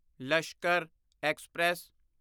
Lashkar express